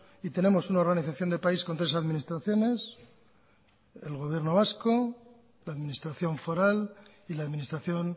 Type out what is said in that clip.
y tenemos una organización de país con tres administraciones el gobierno vasco la administración foral y la administración